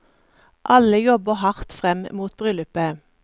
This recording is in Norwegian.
Alle jobber hardt frem mot bryllupet.